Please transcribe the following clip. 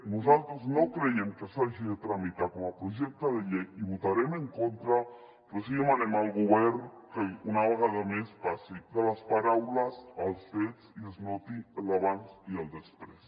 nosaltres no creiem que s’hagi de tramitar com a projecte de llei hi votarem en contra però sí que demanem al govern que una vegada més passi de les paraules als fets i es noti l’abans i el després